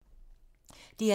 DR1